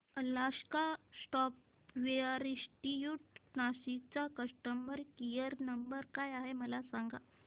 Alaska software institute Nashik चा customer care number काय आहे मला सांग